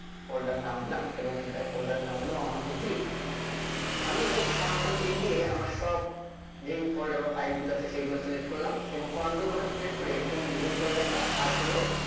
folder নাম দিলাম এবং এর একটা folder নাম দিলাম One Two Three আমি Control a দিয়ে আমার সব যেই folder বা file গুলো আছে সেগুলোকে select করলাম এবং Control button press করে এই New folder টা আর হলো